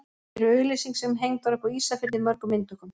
Hér er auglýsing sem hengd var upp á Ísafirði í mörgum eintökum.